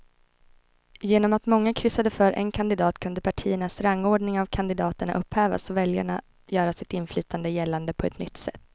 Genom att många kryssade för en kandidat kunde partiernas rangordning av kandidaterna upphävas och väljarna göra sitt inflytande gällande på ett nytt sätt.